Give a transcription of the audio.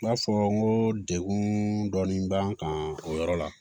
N b'a fɔ n ko degun dɔɔni b'an kan o yɔrɔ la